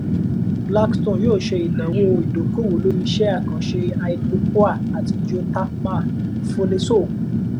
blackstone óò ṣe ìnáwó ìdókòwò lórí iṣẹ́ àkànṣe hydropoer àti geothermal foley sọ